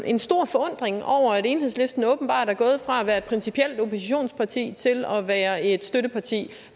en stor forundring over at enhedslisten åbenbart er gået fra at være et principielt oppositionsparti til at være et støtteparti